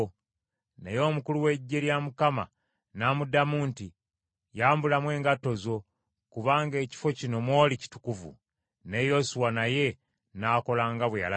Naye omukulu w’eggye lya Mukama n’amuddamu nti, “Yambulamu engatto zo kubanga ekifo kino mw’oli kitukuvu.” Ne Yoswa naye n’akola nga bwe yalagirwa.